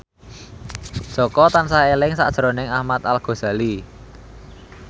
Jaka tansah eling sakjroning Ahmad Al Ghazali